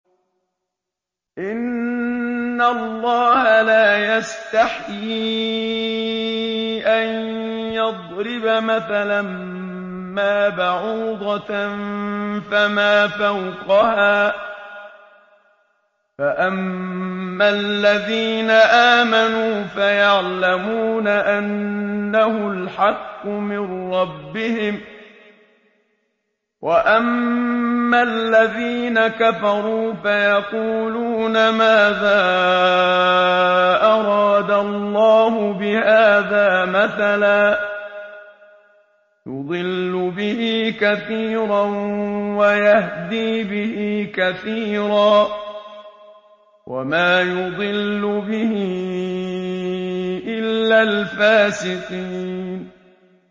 ۞ إِنَّ اللَّهَ لَا يَسْتَحْيِي أَن يَضْرِبَ مَثَلًا مَّا بَعُوضَةً فَمَا فَوْقَهَا ۚ فَأَمَّا الَّذِينَ آمَنُوا فَيَعْلَمُونَ أَنَّهُ الْحَقُّ مِن رَّبِّهِمْ ۖ وَأَمَّا الَّذِينَ كَفَرُوا فَيَقُولُونَ مَاذَا أَرَادَ اللَّهُ بِهَٰذَا مَثَلًا ۘ يُضِلُّ بِهِ كَثِيرًا وَيَهْدِي بِهِ كَثِيرًا ۚ وَمَا يُضِلُّ بِهِ إِلَّا الْفَاسِقِينَ